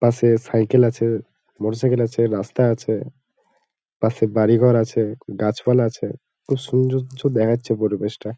পশে সাইকেল আছে। Motor cycle আছে রাস্তা আছে। পাশে বাড়িঘর আছে গাছপালা আছে। খুব সুন্দর্য দেখাচ্ছে পরিবেশটা।